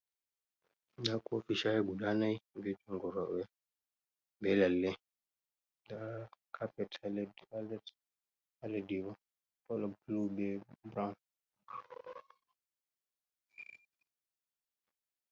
Nda kofi shayi guda nai be jungo roɓe be lalle, nda cappet let ha laddi bo kolo blu be brawn.